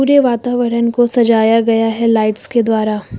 पूरे वातावरण को सजाया गया है लाइट्स के द्वारा।